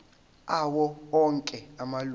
awo onke amalunga